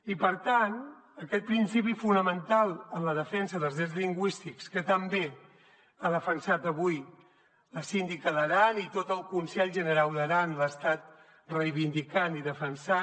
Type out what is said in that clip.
i per tant aquest principi fonamental en la defensa dels drets lingüístics que tan bé ha defensat avui la síndica d’aran i tot el conselh generau d’aran l’ha estat reivindicant i defensant